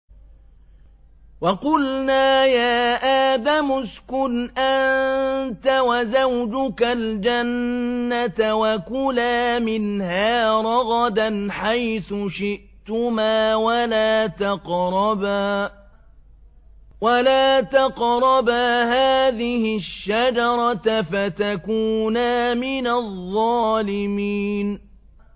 وَقُلْنَا يَا آدَمُ اسْكُنْ أَنتَ وَزَوْجُكَ الْجَنَّةَ وَكُلَا مِنْهَا رَغَدًا حَيْثُ شِئْتُمَا وَلَا تَقْرَبَا هَٰذِهِ الشَّجَرَةَ فَتَكُونَا مِنَ الظَّالِمِينَ